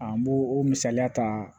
An b'o o misaliya ta